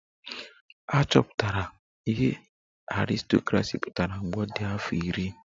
Achọpụtara m ihe aristocracy pụtara mgbe ọ dị afọ iri